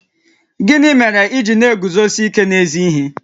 Gịnị mere i ji na-eguzosi ike n'ezi ihe?